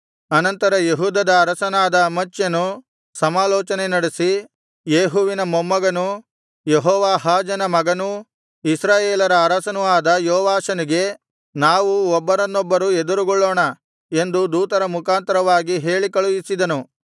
ಅನಂತರ ಯೆಹೂದದ ಅರಸನಾದ ಅಮಚ್ಯನು ಸಮಾಲೋಚನೆ ನಡೆಸಿ ಯೇಹುವಿನ ಮೊಮ್ಮಗನೂ ಯೆಹೋವಾಹಾಜನ ಮಗನೂ ಇಸ್ರಾಯೇಲರ ಅರಸನೂ ಆದ ಯೋವಾಷನಿಗೆ ನಾವು ಒಬ್ಬರನ್ನೊಬ್ಬರು ಎದುರುಗೊಳ್ಳೋಣ ಎಂದು ದೂತರ ಮುಖಾಂತರವಾಗಿ ಹೇಳಿ ಕಳುಹಿಸಿದನು